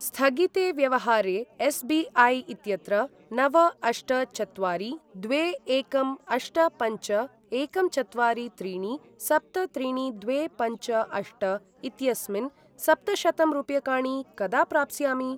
स्थगिते व्यवहारे एस्.बी.ऐ. इत्यत्र नव अष्ट चत्वारि द्वे एकं अष्ट पञ्च एकं चत्वारि त्रीणि सप्त त्रीणि द्वे पञ्च अष्ट इत्यस्मिन् सप्तशतं रूप्यकाणि कदा प्राप्स्यामि?